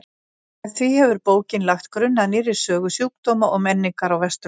Með því hefur bókin lagt grunn að nýrri sögu sjúkdóma og menningar á Vesturlöndum.